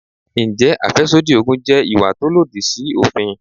Ǹjẹ́ àfẹ́sódì Ògùn jẹ́ ìwà tó lòdì sí òfin?